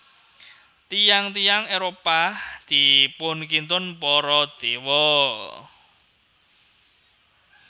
Tiyang tiyang Éropah dipunkintun para Dewa